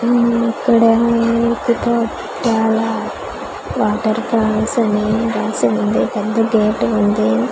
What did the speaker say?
ఉమ్ ఇక్కడ నీటి తో చాలా వాటర్ ఫాల్స్ అవి వేసి ఉంది పెద్ద గెట్ ఉంది .